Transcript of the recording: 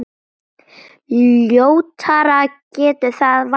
Ljótara getur það varla orðið.